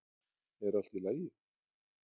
er allt í lagi